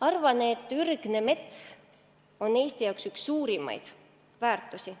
Ma arvan, et ürgne mets on Eesti jaoks üks suurimaid väärtusi